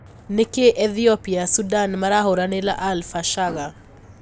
Niki Ethiopia, Sudan marahuranira al-Fashaga?